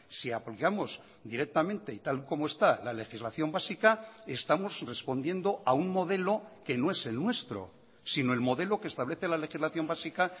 si apoyamos directamente y tal como está la legislación básica estamos respondiendo a un modelo que no es el nuestro sino el modelo que establece la legislación básica